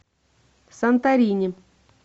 санторини